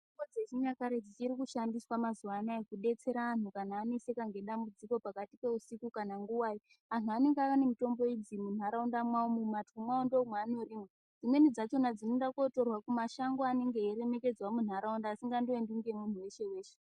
Mitombo dzechinyakare dzichiri kushandiswa mazuva anaya kubetsera antu kana aneseka nedambudziko pakati peusiku kana nguvai. Antu anenge ane mutombo idzi munharaunda mwavomwu munhatwo mavo ndimwo mwavanorima. Dzimweni dzakona dzinoende kotorwa mumashango anenge eiremekedzwa munharaunda asingaendwi nemuntu veshe-veshe.